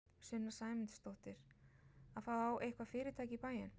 Sunna Sæmundsdóttir: Að fá eitthvað fyrirtæki í bæinn?